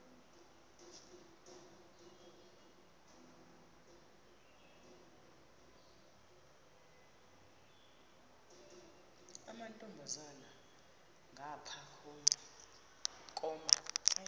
amantombazana ngapha koma